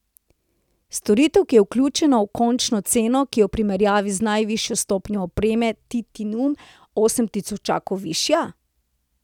Storitev, ki je vključena v končno ceno, ki je v primerjavi z najvišjo stopnjo opreme titanium osem tisočakov višja?